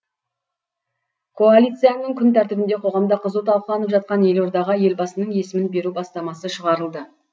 коалицияның күн тәртібіне қоғамда қызу талқыланып жатқан елордаға елбасының есімін беру бастамасы шығарылды